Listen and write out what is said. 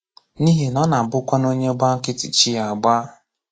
N’ihi na ọ na-abụkwanụ onye gbà nkịtì, chi ya ágbà.